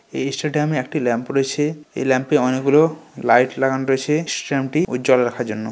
এই স্টেডিয়াম এ একটি ল্যাম্প রয়েছে। এই ল্যাম্প এ অনেক গুলো লাইট লাগানো রয়েছে। স্টিয়ামটি উজ্জ্বল রাখার জন্য।